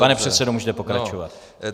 Pane předsedo, můžete pokračovat.